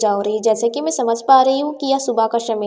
जैसे कि मैं समझ पा रही हूं कि यह सुबह का समय--